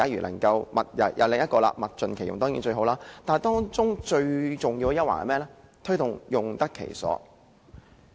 能夠物盡其用，當然是最好，但最重要是推動產品用得其所。